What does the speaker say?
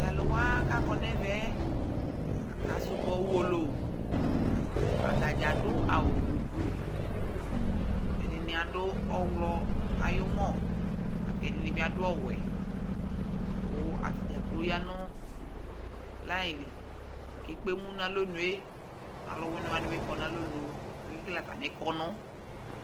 to alowa k'akɔ n'ɛvɛ aka subɔ uwolowu atadza ado awu gblu gblu ɛdini ado ɔwlɔ ayi umɔ lako ɛdini bi ado ɔwɛ kò atadzakplo ya no layi li k'ekpe emu n'alɔnue alowini wani bi kɔ n'alɔnu k'ake kele atami kɔnu